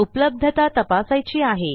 उपलब्धता तपासायची आहे